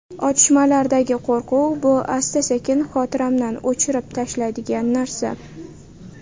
Otishmalardagi qo‘rquv, bu asta-sekin xotiramdan o‘chirib tashlaydigan narsa.